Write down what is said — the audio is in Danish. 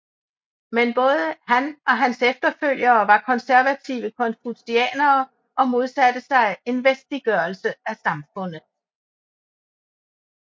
Men både han og hans efterfølgere var konservative konfutsianere og modsatte sig en vestliggørelse af samfunnet